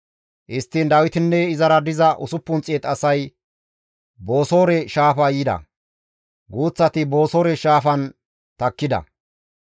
Histtiin Dawitinne izara diza 600 asay Bosoore shaafa yida; guuththati Bosoore shaafan takkida.